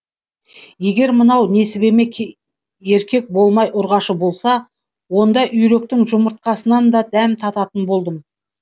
егер мынау несібеме еркек болмай ұрғашы болса онда үйректің жұмыртқасынан да дәм тататын болдым